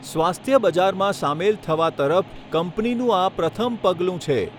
સ્વાસ્થ્ય બજારમાં સામેલ થવા તરફ કંપનીનું આ પ્રથમ પગલું છે.